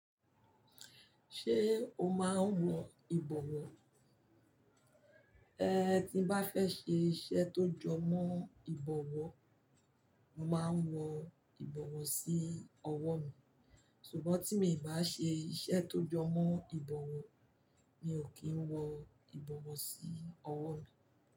Ṣé o máa ń wọ ìbọwọ́? Ehn, tí n bá fẹ́ ṣe iṣẹ́ tó jọ mọ́ ìbọwọ́, mo máa ń wọ ìbọwọ́ sí ọwọ́ mi, ṣùgbọ́n tí mi ò bá ṣe iṣẹ́ tó jọ mọ́ ìbọwọ́, mi ò kí ń wọ ìbọwọ́ sí ọwọ́ mi.